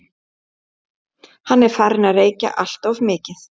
Hún er farin að reykja alltof mikið.